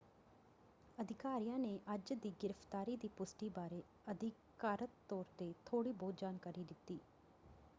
ਅਧਿਕਾਰੀਆਂ ਨੇ ਅੱਜ ਦੀ ਗ੍ਰਿਫਤਾਰੀ ਦੀ ਪੁਸ਼ਟੀ ਬਾਰੇ ਅਧਿਕਾਰਤ ਤੌਰ 'ਤੇ ਥੋੜ੍ਹੀ ਬਹੁਤ ਜਾਣਕਾਰੀ ਦਿੱਤੀ।